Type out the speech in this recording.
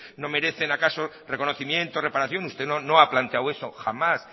no merecen acaso reconocimiento o reparación usted no ha planteado eso jamás